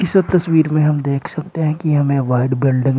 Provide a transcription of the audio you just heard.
तस्वीर में हम देख सकते हैं कि हमें व्हाइट बिल्डिंग --